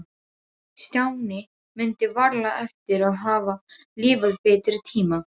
Stjáni mundi varla eftir að hafa lifað betri tíma.